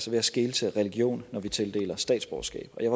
ved at skele til religion når vi tildeler statsborgerskab og jeg